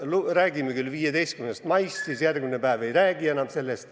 Algul räägime 15. maist, aga järgmine päev enam ei räägi.